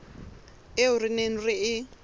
eo re neng re e